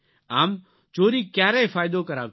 આમ ચોરી ક્યારેય ફાયદો કરાવતી નથી